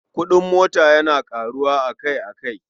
Kuɗin mota yana ƙaruwa akai-akai.